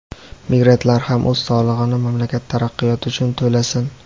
migrantlar ham o‘z solig‘ini mamlakat taraqqiyoti uchun to‘lasin.